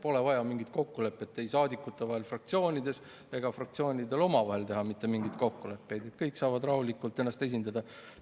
Pole vaja mingit kokkulepet ei saadikute vahel fraktsioonides ega ole vaja fraktsioonidel omavahel teha mingeid kokkuleppeid, kõik saavad rahulikult ennast esindada.